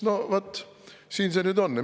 No vaat siin see nüüd on.